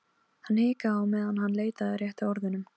Hann hikaði á meðan hann leitaði að réttu orðunum.